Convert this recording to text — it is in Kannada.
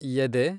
ಎದೆ